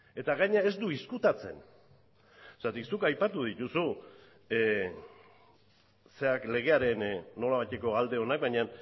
gainera ez du ezkutatzen zergatik zuk aipatu dituzu legearen nolabaiteko alde ona baina